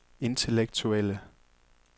intellektuelle